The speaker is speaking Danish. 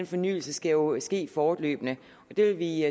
fornyelse skal jo ske fortløbende og det vil vi